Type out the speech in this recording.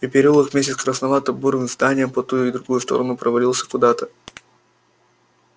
и переулок вместе с красновато-бурыми зданиями по ту и другую сторону провалился куда-то